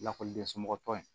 Lakɔliden somɔgɔw tɔgɔ in